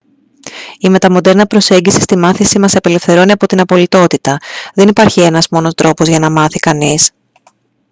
η μεταμοντέρνα προσέγγιση στη μάθηση μας απελευθερώνει από την απολυτότητα δεν υπάρχει ένας μόνο τρόπος για να μάθει κανείς